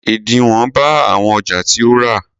Ẹ̀dínwó bá àwọn ọjà tí o rà.